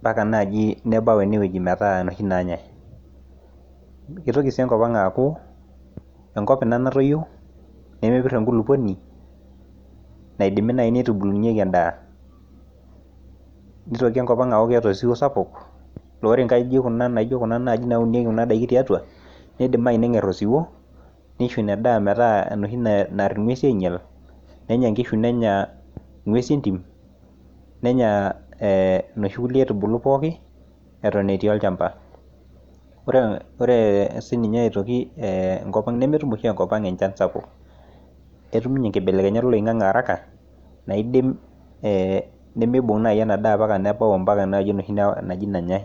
Mpaka naaji nebau enewuji netaa inoshi naanyai. Keitoki sii enkop anga aaku enko ina natoyio nemepir enkulupuoni naidimi naaji neitubulunyieki endaa. Neitoki sii enkop ang aaku keeta osiwuo sapuk laa ore nkaijijik naijio kuna naaji naunieki indaiki, neidimayu naaji nenger osiwuo neisho ina daa metaa enoshi naa inguesin ainyal, nenya inkishu nenya inguesin entim nenya inoshi aitubulu pooki eton etii olchamba. Ore siininye aitoki nemetum oshi ninye enchan sapuk, ketum ninye nkibelekenyat oloibgange araka naidim nemeibung naaji ena daa ometabaiki ewueji naaji nenyai